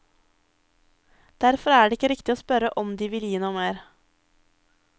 Derfor er det ikke riktig å spørre om de vil gi noe mer.